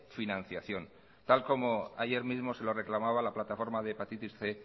financiación tal como ayer mismo se lo reclamaba la plataforma de hepatitis cien